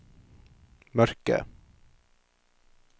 mørke